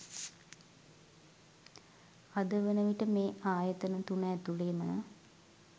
අද වනවිට මේ ආයතන තුන ඇතුළේම